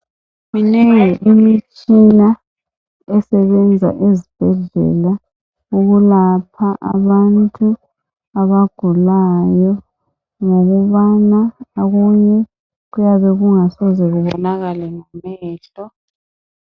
Minengi imitshina esebenza ezibhedlela ukulapha abantu abagulayo ngokubana okunye kuyabe kungasoze kubonakale ngamehlo.